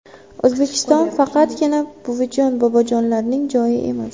O‘zbekiston faqatgina buvijon-bobojonlarning joyi emas.